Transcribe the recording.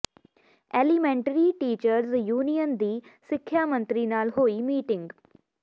elementary teachers union ਦੀ ਸਿੱਖਿਆ ਮੰਤਰੀ ਨਾਲ ਹੋਈ ਮੀਟਿੰਗ